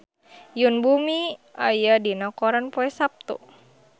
Yoon Bomi aya dina koran poe Saptu